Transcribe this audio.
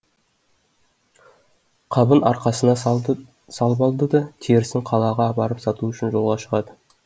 қабын арқасына салып алады да терісін қалаға апарып сату үшін жолға шығады